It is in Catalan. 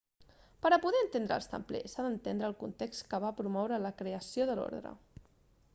per a poder entendre els templers s'ha d'entendre el context que va promoure la creació de l'ordre